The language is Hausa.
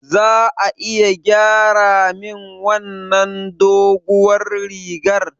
Za a iya gyara min wannan doguwar rigar?